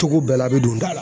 Togo bɛɛ la an mi don da la